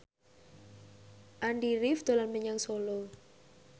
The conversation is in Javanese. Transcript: Andy rif dolan menyang Solo